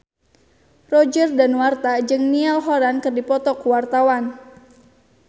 Roger Danuarta jeung Niall Horran keur dipoto ku wartawan